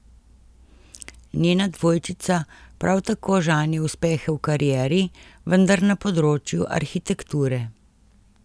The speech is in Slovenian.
Njena dvojčica prav tako žanje uspehe v karieri, vendar na področju arhitekture.